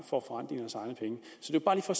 får